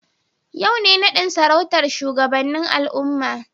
Yau ne nadin sarautar shugabannin al'umma.